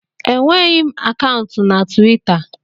Enweghị m akaụntụ na Twita